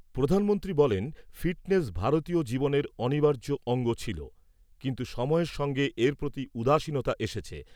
প্রধানমন্ত্রী বলেন, ফিটনেস ভারতীয় জীবনের অনিবার্য অঙ্গ ছিল, কিন্তু সময়ের সঙ্গে এর প্রতি উদাসীনতা এসেছে।